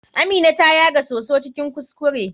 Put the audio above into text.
Amina ta yaga soso cikin kuskure.